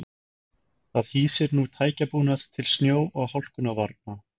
Það hýsir nú tækjabúnað til snjó og hálkuvarna.